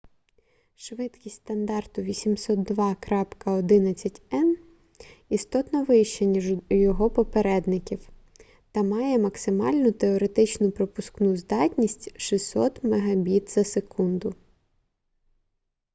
швидкість стандарту 802.11n - істотно вища ніж у його попередників та має максимальну теоретичну пропускну здатність 600 мбіт/с